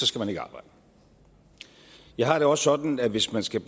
skal man ikke arbejde jeg har det også sådan at hvis man skal